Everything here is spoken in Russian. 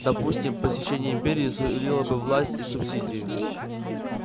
допустим посещение империи сулило бы вам власть и субсидии